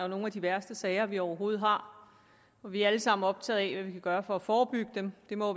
nogle af de værste sager vi overhovedet har og vi er alle sammen optaget af hvad vi kan gøre for at forebygge dem det må